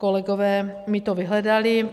Kolegové mi to vyhledali.